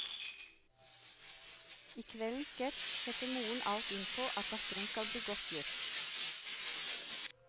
I kveldens sketsj setter moren alt inn på, at datteren skal bli godt gift.